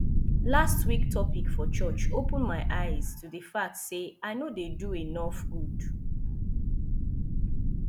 last week topic for church open my eyes to the fact say i no dey do enough good